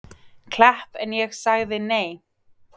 Klepp en ég sagði nei.